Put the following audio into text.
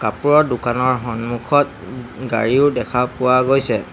কাপোৰৰ দোকানৰ সন্মুখত ও গাড়ীও দেখা পোৱা গৈছে।